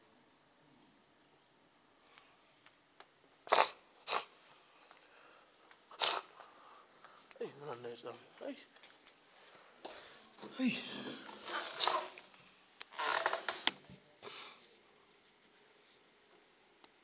vhuimabisi kana hune thekhisi dza